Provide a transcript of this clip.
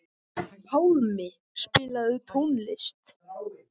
Pálmi, spilaðu tónlist.